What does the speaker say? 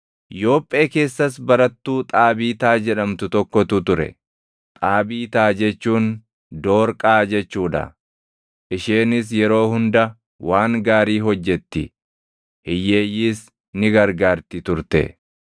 Yoophee keessas barattuu Xaabiitaa jedhamtu tokkotu ture; Xaabiitaa jechuun Doorqaa jechuu dha. Isheenis yeroo hunda waan gaarii hojjetti; hiyyeeyyiis ni gargaarti turte.